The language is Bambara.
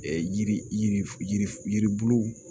Yiri yirisi yiribuluw